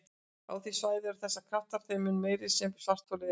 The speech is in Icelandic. Á því svæði eru þessir kraftar þeim mun meiri sem svartholið er minna.